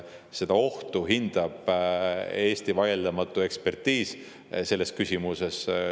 Seda ohtu hindab Eesti vaieldamatu ekspertiis selles küsimuses.